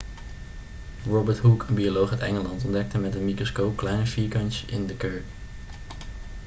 robert hooke een bioloog uit engeland ontdekte met een microscoop kleine vierkantjes in kurk